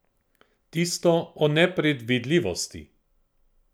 Tisto o nepredvidljivosti.